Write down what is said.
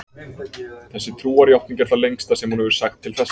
Þessi trúarjátning er það lengsta sem hún hefur sagt til þessa.